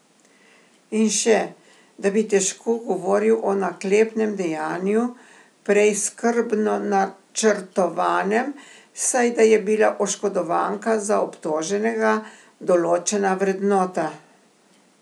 In še, da bi težko govoril o naklepnem dejanju, prej skrbno načrtovanem, saj da je bila oškodovanka za obtoženega določena vrednota.